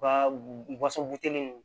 U ka waso buteliw